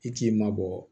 I k'i mabɔ